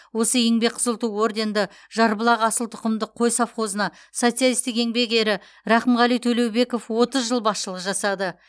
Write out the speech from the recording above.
осы еңбек қызыл ту орденді жарбұлақ асыл тұқымды қой совхозына социалистік еңбек ері рақымғали төлеубеков отыз жыл басшылық жасады